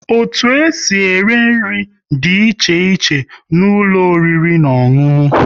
Otu e si ere nri dị iche iche n'ụlọ oriri na ọṅụṅụ